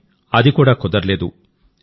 కానీ అది కూడా కుదరలేదు